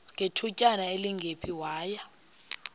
ngethutyana elingephi waya